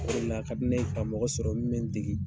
O de la a ka di ne ye ka mɔgɔ sɔrɔ min bɛ n dege.